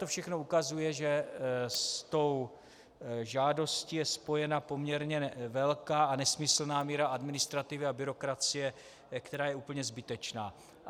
To všechno ukazuje, že s tou žádostí je spojena poměrně velká a nesmyslná míra administrativy a byrokracie, která je úplně zbytečná.